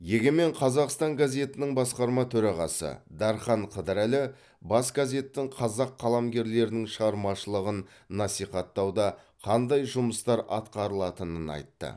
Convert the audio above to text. егемен қазақстан газетінің басқарма төрағасы дархан қыдырәлі бас газеттің қазақ қаламгерлерінің шығармашылығын насихаттауда қандай жұмыстар атқарылатынын айтты